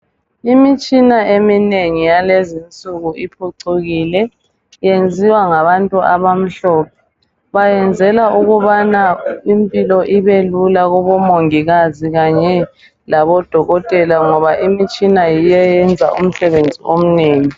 Imitshina eminengi yalezi nsuku iphucukile iyenziwa ngabantu abamhlophe bayenzela ukubana impilo ibelula kubomongikazi kanye labodokotela ngoba imitshina yiyo eyenza umsebenzi omnengi.